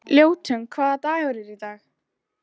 Ljótunn, hvaða dagur er í dag?